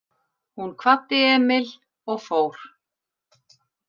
Hún kvaddi Emil og fór.